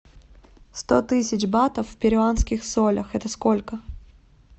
сто тысяч батов в перуанских солях это сколько